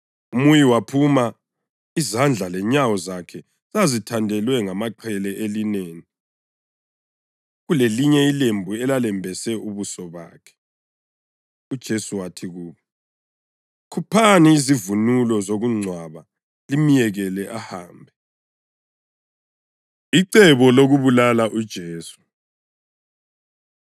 Umuyi waphuma, izandla lenyawo zakhe zithandelwe ngamaqhele elineni, kulelinye ilembu elalembese ubuso bakhe. UJesu wathi kubo, “Khuphani izivunulo zokungcwaba limyekele ahambe.” Icebo Lokubulala UJesu